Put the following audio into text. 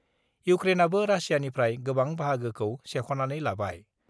इउक्रेनआबो रासियानिफ्राय गोबां बाहागोखौ सेख'नानै लाबाय।